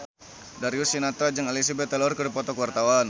Darius Sinathrya jeung Elizabeth Taylor keur dipoto ku wartawan